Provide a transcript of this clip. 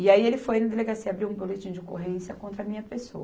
E aí ele foi na delegacia e abriu um boletim de ocorrência contra a minha pessoa.